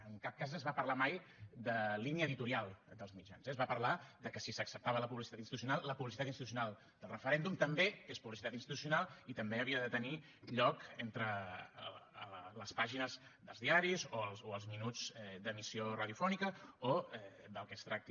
en cap cas es va parlar mai de línia editorial dels mitjans eh es va parlar de que si s’acceptava la publicitat institucional la publicitat institucional del referèndum també és publicitat institucional i també havia de tenir lloc entre les pàgines dels diaris o els minuts d’emissió radiofònica o del que es tracti